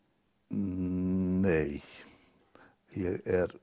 nei ég er